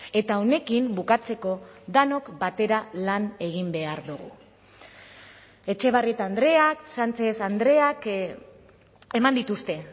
eta honekin bukatzeko denok batera lan egin behar dugu etxebarrieta andreak sánchez andreak eman dituzte